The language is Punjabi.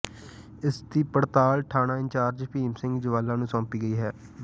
ਇਸਦੀ ਪੜਤਾਲ ਥਾਣਾ ਇੰਚਾਰਜ ਭੀਮ ਸਿੰਘ ਜਵਾਲਾ ਨੂੰ ਸੌਂਪੀ ਗਈ ਹੈ